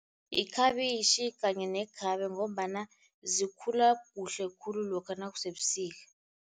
Ikhabitjhi kanye nekhabe, ngombana zikhula kuhle khulu lokha nakusebusika.